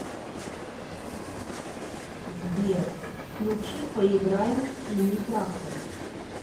сбер включи поиграем в синий трактор